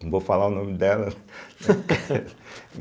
Não vou falar o nome dela.